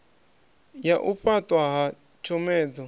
ya u fhaṱwa ha tshomedzo